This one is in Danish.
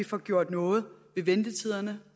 får gjort noget ved ventetiderne